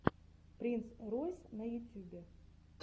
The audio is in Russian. принц ройс на ютюбе